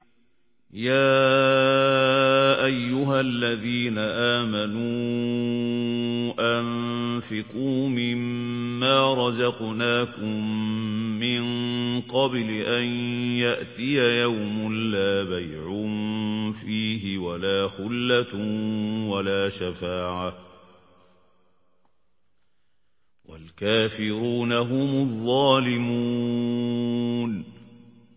يَا أَيُّهَا الَّذِينَ آمَنُوا أَنفِقُوا مِمَّا رَزَقْنَاكُم مِّن قَبْلِ أَن يَأْتِيَ يَوْمٌ لَّا بَيْعٌ فِيهِ وَلَا خُلَّةٌ وَلَا شَفَاعَةٌ ۗ وَالْكَافِرُونَ هُمُ الظَّالِمُونَ